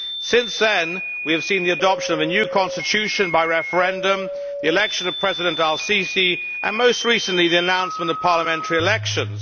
Since then, we have seen the adoption of a new Constitution by referendum, the election of President al Sisi and, most recently, the announcement of parliamentary elections.